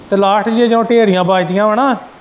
ਤੇ ਲਾਸਟ ਚ ਜਦੋਂ ਢੇਰੀਆਂ ਬੱਚਦੀਆਂ ਵਾਂ ਨਾ।